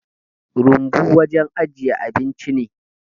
Rumbu wajen ajiyar abinci ne